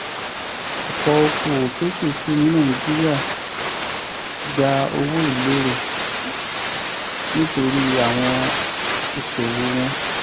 ọ̀pọ̀ okòwò kékèké ní nàìjíríà ń gba owó lérò nítorí àwọn ìṣòwò wọn.